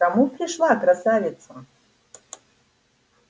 к кому пришла красавица